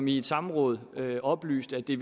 i et samråd oplyste at det